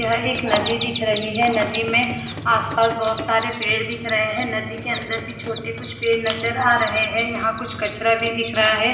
यह एक नदी दिख रही है नदी में आसपास बहुत सारे पेड़ दिख रहे है नदी के अंदर भी छोटे कुछ पेड़ नज़र आ रहे है यहाँ कुछ कचरा भी दिख रहा है।